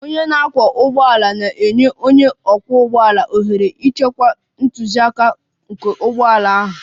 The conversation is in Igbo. Onye na-akwọ ụgbọala na-enye onye ọkwọ ụgbọala ohere ịchịkwa ntụziaka nke ụgbọ ala ahụ.